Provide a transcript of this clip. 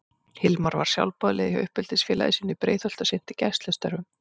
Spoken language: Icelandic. Hilmar var sjálfboðaliði hjá uppeldisfélagi sínu í Breiðholti og sinnti gæslustörfum.